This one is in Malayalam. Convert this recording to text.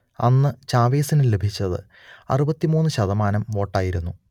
അന്ന് ചാവെസിനു ലഭിച്ചത് അറുപത്തി മൂന്ന് ശതമാനം വോട്ടായിരുന്നു